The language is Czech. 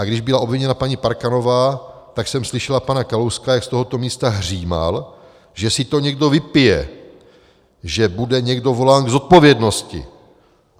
A když byla obviněna paní Parkanová, tak jsem slyšela pana Kalouska, jak z tohoto místa hřímal, že si to někdo vypije, že bude někdo volán k zodpovědnosti.